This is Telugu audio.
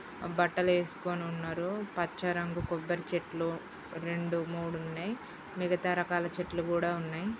బట్టలేసుకొని ఉన్నారు. పచ్చరంగు కొబ్బరి చెట్లు రెండు మూడు ఉన్నయ్. మిగతా రకాల చెట్లు కూడా ఉన్నయ్.